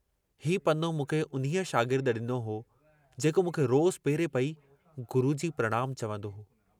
हीउ पनो मूंखे उन्हीअ शागिर्द डिनो हो, जेको मूंखे रोजु पेरे पई " गुरूजी प्रणाम चवन्दो हो।